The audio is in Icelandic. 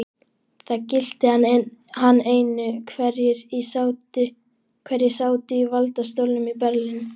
Það gilti hann einu, hverjir sátu í valdastólum í Berlín.